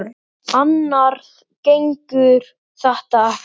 Annars gengur þetta ekki.